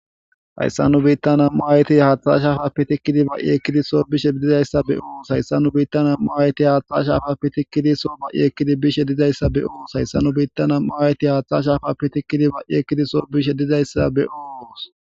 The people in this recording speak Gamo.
Haysan nubitan nam'u ayeti hatha shafa tikidi bai' ekidi so bizaysa beyos haysan nubitan nam'u ayeti hatha shafappe tikidi ba'i ekidi so bizaysa beyos.